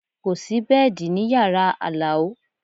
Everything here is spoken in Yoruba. Kò sí bẹ́ẹ̀dì ní yàrá Alao